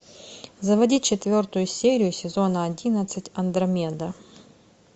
заводи четвертую серию сезона одиннадцать андромеда